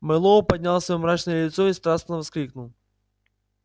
мэллоу поднял своё мрачное лицо и страстно воскликнул